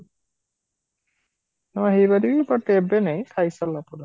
ହଁ ହେଇ ପାରିବି but ଏବେ ନାହିଁ ଖାଇ ସରିଲା ପରେ